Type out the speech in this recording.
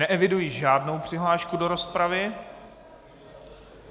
Neeviduji žádnou přihlášku do rozpravy.